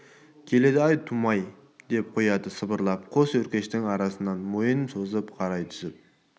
келеді ай тумай деп қояды сыбырлап қос өркештің арасынан мойнын созып қарай түсіп